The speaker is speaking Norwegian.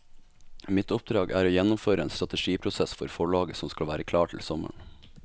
Mitt oppdrag er å gjennomføre en strategiprosess for forlaget som skal være klar til sommeren.